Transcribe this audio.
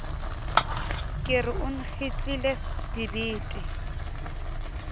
ke re o nkgitlile dibete